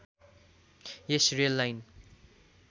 yes rail line